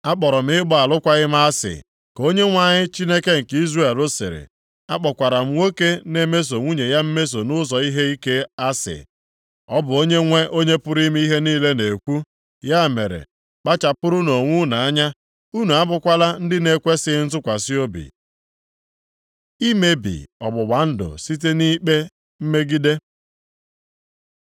“Akpọrọ m ịgba alụkwaghị m asị,” ka Onyenwe anyị Chineke nke Izrel sịrị, “a kpọkwara nwoke na-emeso nwunye ya mmeso nʼụzọ ihe ike asị.” Ọ bụ Onyenwe Onye pụrụ ime ihe niile na-ekwu. Ya mere, kpachapụrụnụ onwe unu anya, unu abụkwala ndị na-ekwesighị ntụkwasị obi. Imebi ọgbụgba ndụ site nʼikpe mmegide